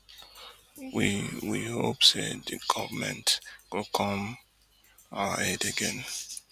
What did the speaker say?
we we hope say di goment go come to our aid again